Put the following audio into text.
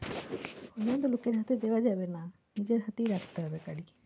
ওই জন্য তো লোকের হাতে দেওয়া যাবে না নিজের হাতেই রাখতে হবে গাড়ি।